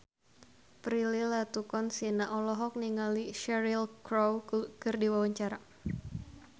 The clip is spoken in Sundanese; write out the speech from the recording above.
Prilly Latuconsina olohok ningali Cheryl Crow keur diwawancara